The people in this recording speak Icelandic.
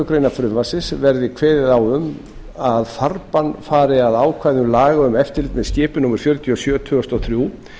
grein frumvarpsins verði kveðið á um að farbann fari að ákvæðum laga um eftirlit með skipum númer fjörutíu og sjö tvö þúsund og þrjú